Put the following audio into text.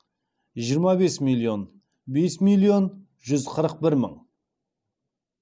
жиырма бес миллион бес миллион жүз қырық бір мың